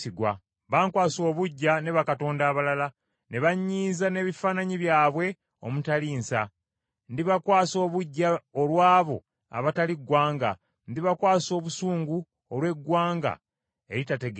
Bankwasa obuggya ne bakatonda abalala, ne banyiiza n’ebifaananyi byabwe omutali nsa. Ndibakwasa obuggya olw’abo abatali ggwanga, ndibakwasa obusungu olw’eggwanga eritategeera.